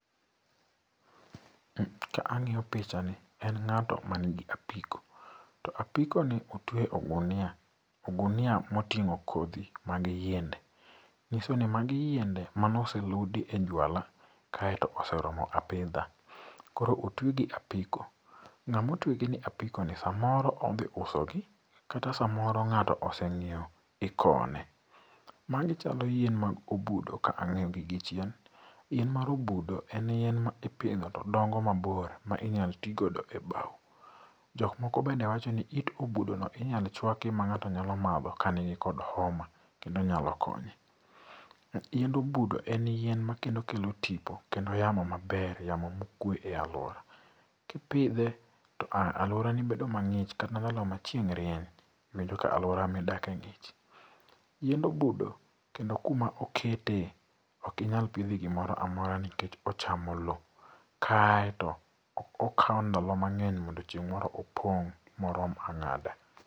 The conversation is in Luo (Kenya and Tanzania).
Ka ang'iyo pichani en ng'atoo man gi apiko. To apikoni otueye ogunia, ogunia motingo kodhi mag yiende. Manyiso ni magi yiende mane oseludi e juala, kaeto mose romo apidha. Koro otuegi e apiko ng'ama otuegi e apikoni samoro odhi uso gi kata samoro ng'ato ne osenyiewo, ikowo ne. Magi chalo yien mag obudo kaka ang'egi gichien. Yien mar obudo en yien ma ipidho to dongo mabor ma inyalo ti godo e bao. Jok moko be wachoni it obudono inyalo chuaki ma ng'ato nyalo madho ka nigi homa kendo nyalo konye. Yiend obudo en yien makendo kelo tipo kendo yamo maber, yamo ma okue e aluora. Kipidhe to aluorani bedo mang'ich kata ndalo machieng' rieny to iyudo ka aluora midake ng'ich